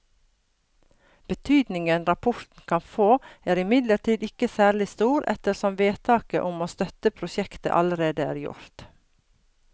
Betydningen rapporten kan få er imidlertid ikke særlig stor ettersom vedtaket om å støtte prosjektet allerede er gjort.